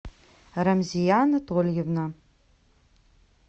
рамзия анатольевна